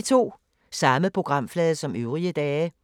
Samme programflade som øvrige dage